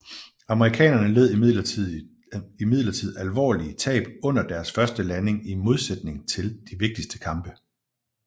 Amerikanerne led imidlertid alvorlige tab under deres første landing i modsætning til de vigtigste kampe